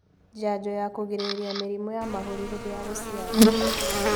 Njanjo ya kũgirĩrĩria mĩrimu ya mahũri hindi ya gũciara